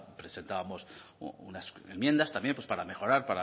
presentamos unas enmiendas también pues para mejorar